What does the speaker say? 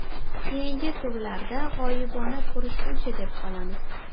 Keyingi turlarda g‘oyibona ko‘rishguncha deb qolamiz... !